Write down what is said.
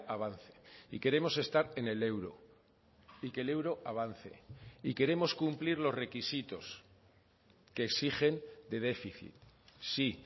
avance y queremos estar en el euro y que el euro avance y queremos cumplir los requisitos que exigen de déficit sí